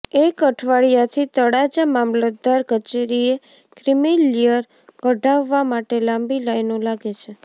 એક અઠવાડિયાથી તળાજા મામલતદાર કચેરીએ ક્રિમિલિયર કઢાવવા માટે લાંબી લાઈનો લાગે છે